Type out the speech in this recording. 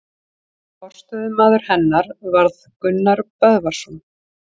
Forstöðumaður hennar varð Gunnar Böðvarsson.